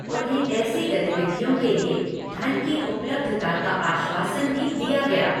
उन्हें ऐसी गतिविधियों के लिए धन की उपलब्धता का आश्वासन भी दिया गया।